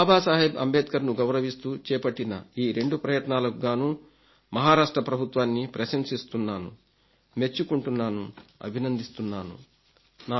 బాబాసాహెబ్ అంబేద్కర్ను గౌరవిస్తూ చేపట్టిన ఈ రెండు ప్రయత్నాలకుగాను మహారాష్ట్ర ప్రభుత్వాన్ని ప్రశంసిస్తున్నాను మెచ్చుకుంటున్నాను అభినందిస్తున్నాను